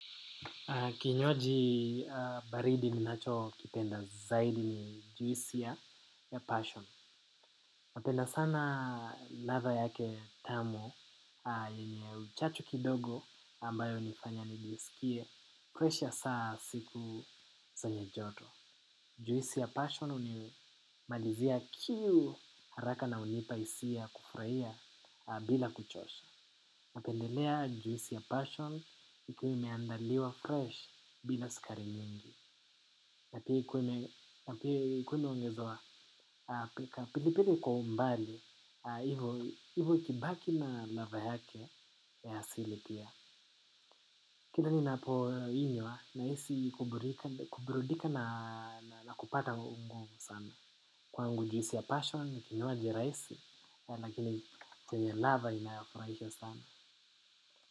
Kinywaji baridi ninachokipenda zaidi ni juisi ya passion. Napenda sana ladha yake tamu yenye uchachu kidogo ambayo hunifanya nijisikie presha saa siku zenye joto. Juisi ya passion hunimalizia kiu haraka na hunipa hisia kufurahia bila kuchosha. Napendelea juisi ya passion ikiwa imeandaliwa fresh bila sukari nyingi. Na pili pili kwa umbali, hivo ikibaki na ladha yake ya asili pia. Kila ninapoinywa nahisi kuburidika na kupata nguvu sana. Kwangu juisi ya passion ni kinywaji rahisi, lakini chenye ladha inayofurahisha sana.